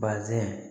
Bazɛn